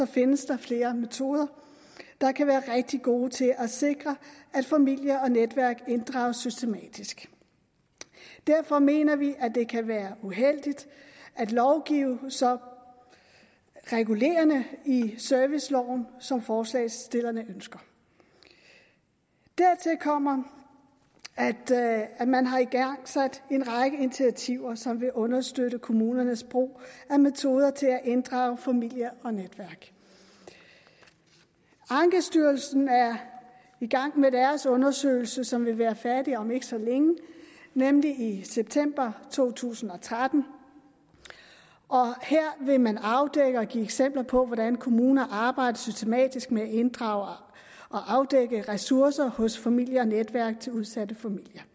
findes der flere metoder der kan være rigtig gode til at sikre at familie og netværk inddrages systematisk derfor mener vi at det kan være uheldigt at lovgive så regulerende i serviceloven som forslagsstillerne ønsker dertil kommer at man har igangsat en række initiativer som vil understøtte kommunernes brug af metoder til at inddrage familie og netværk ankestyrelsen er i gang med deres undersøgelse som vil være færdig om ikke så længe nemlig i september to tusind og tretten og her vil man afdække og give eksempler på hvordan kommuner arbejder systematisk med at inddrage og afdække ressourcer hos familier og netværk til udsatte familier